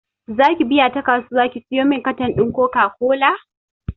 Zaki biya ta kasuwa ki siyomin katan ɗin koka kola?